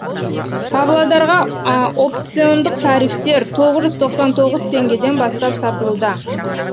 павлодарға опциондық тарифтер тоғыз жүз тоқсан тоғыз теңгеден бастап сатылуда